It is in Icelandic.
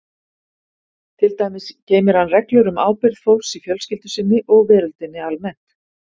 Til dæmis geymir hann reglur um ábyrgð fólks í fjölskyldu sinni og veröldinni almennt.